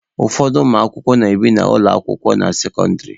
Ụfọdụ ụmụakwụkwọ na-ebi n'ụlọ akwụkwọ na sekọndịrị.